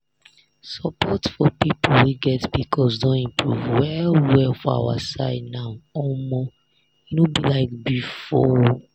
support for people wey get pcos don improve well well for our side now omo e no be like before.